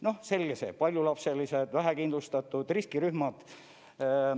Noh selge see, paljulapselised, vähekindlustatud, riskirühmad.